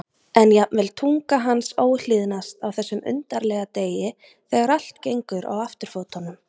En jafnvel tunga hans óhlýðnast á þessum undarlega degi þegar allt gengur á afturfótunum.